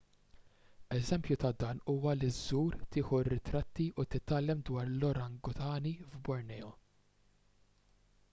eżempju ta' dan huwa li żżur tieħu r-ritratti u titgħallem dwar l-orangutani f'borneo